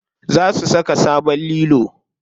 Za su saka sabon lilo.